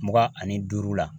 Mugan ani duuru la